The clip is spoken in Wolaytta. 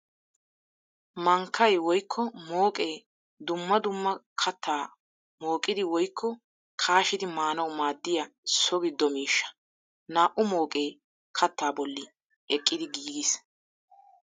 Mankkay woykko mooqqe dumma dumma katta mooqqiddi woykko kaashshiddi maanawu maadiya so gido miishsha. Naa'u mooqqe kaatta bolli eqqiddi giigis.